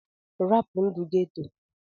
Rapụ ndụ ghetto!!